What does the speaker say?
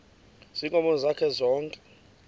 ziinkomo zakhe zonke